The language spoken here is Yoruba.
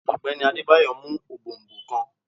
Ogbeni Adebayo mu òbòònbòn kan.